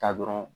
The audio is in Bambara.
Taa dɔrɔn